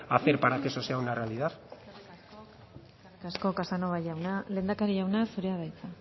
a hacer para que eso sea una realidad eskerrik asko casanova jauna lehendakari jauna zurea da hitza